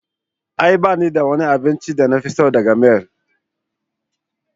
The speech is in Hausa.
A'a ba ni da wani abincin da na fi so daga mall.